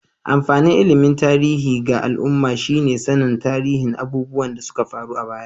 Amfanin ilimin tarihi ga al'umma shi ne sannin tarihin abubuwan da suka faru a baya.